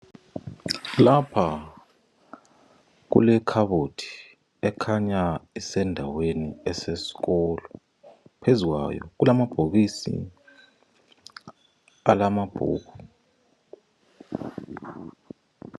Lapha kulekhabothi ekhanya isendaweni esesikolo. Phezukwayo kulamabhokisi alamabhuku.